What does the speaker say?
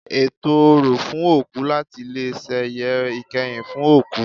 Ètò orò fún òkú láti leè sẹ̀yẹ ìkẹyìn fún òkú